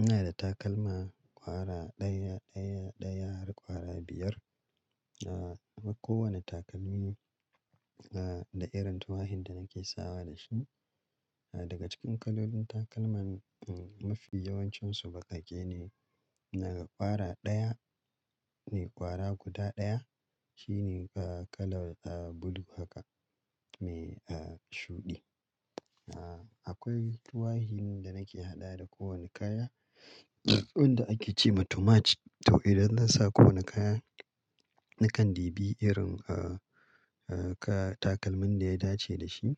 Ina da takalma ƙwara ɗaya, ɗaya, ɗaya har ƙwara biyar. Ah, na ba kowane takalmi ah, da irin tuwahin da nake sawa da shi. Daga cikin kalolin takalman mafi yawancinsu baƙaƙe ne. Naga ƙwara ɗaya ne ƙwara guda ɗaya, shine kala ah, blue haka mai ah, shuɗi. Akwai tuwahin da nake haɗa da kowane kaya wanda ake ce ma too much. To idan zan sa ko wane kaya, nakan ɗibi irin ah, takalmin da ya dace da shi.